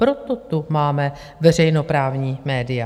Proto tu máme veřejnoprávní média.